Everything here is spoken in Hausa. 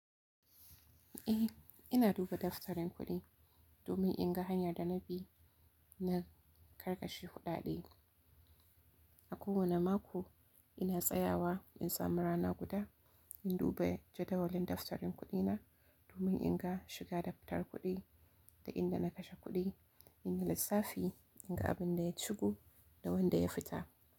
Eh, ina duba daftarin kuɗi domin in ga hanyar da na bi na karkashe kuɗaɗe. A kowane mako ina tsayawa in samu rana guda in duba jadawalin daftarin kuɗina domin in ga shiga da fitar kuɗi da inda na kashe kuɗi, in yi lissafi in ga abin da ya shigo da wanda ya fita.